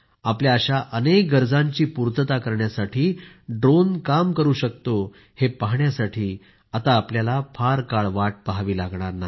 आपल्या अशा अनेक गरजांची पूर्तता करण्यासाठी ड्रोन काम करू शकतो हे पाहण्यासाठी आता आपल्याला फार काळ वाट पहावी लागणार नाही